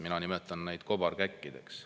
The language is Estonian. Mina nimetan neid kobarkäkkideks.